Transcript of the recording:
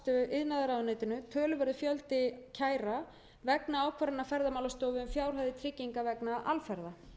iðnaðarráðuneytinu töluverður fjöldi kæra vegna ákvarðana ferðamálastofu um fjárhæðir trygginga vegna alferða